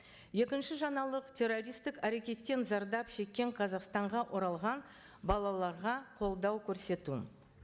екінші жаңалық террористтік әрекеттен зардап шеккен қазақстанға оралған балаларға қолдау көрсету